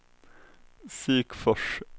Sikfors